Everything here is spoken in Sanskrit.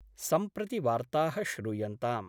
सम्प्रति वार्ता: श्रूयन्ताम्